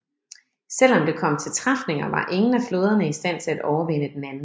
Selv om det kom til træfninger var ingen af flåderne i stand til at overvinde den anden